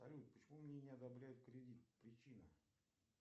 салют почему мне не одобряют кредит причина